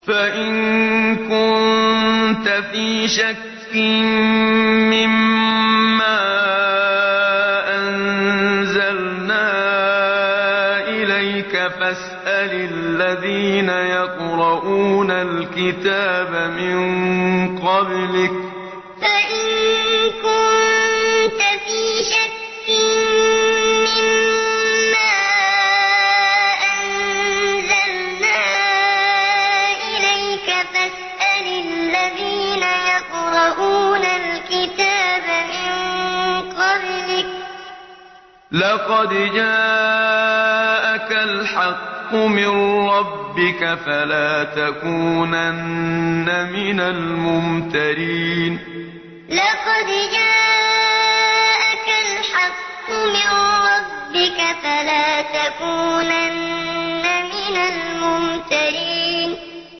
فَإِن كُنتَ فِي شَكٍّ مِّمَّا أَنزَلْنَا إِلَيْكَ فَاسْأَلِ الَّذِينَ يَقْرَءُونَ الْكِتَابَ مِن قَبْلِكَ ۚ لَقَدْ جَاءَكَ الْحَقُّ مِن رَّبِّكَ فَلَا تَكُونَنَّ مِنَ الْمُمْتَرِينَ فَإِن كُنتَ فِي شَكٍّ مِّمَّا أَنزَلْنَا إِلَيْكَ فَاسْأَلِ الَّذِينَ يَقْرَءُونَ الْكِتَابَ مِن قَبْلِكَ ۚ لَقَدْ جَاءَكَ الْحَقُّ مِن رَّبِّكَ فَلَا تَكُونَنَّ مِنَ الْمُمْتَرِينَ